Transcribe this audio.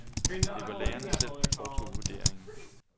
Det var lærerne selv, der foretog vurderingen.